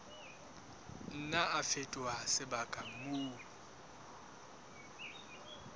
nna a fetoha sebaka moo